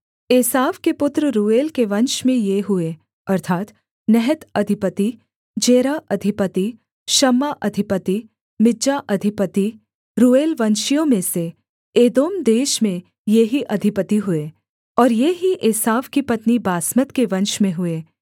एसाव के पुत्र रूएल के वंश में ये हुए अर्थात् नहत अधिपति जेरह अधिपति शम्मा अधिपति मिज्जा अधिपति रूएलवंशियों में से एदोम देश में ये ही अधिपति हुए और ये ही एसाव की पत्नी बासमत के वंश में हुए